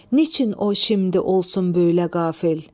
Niçin o şimdi olsun böylə qafil?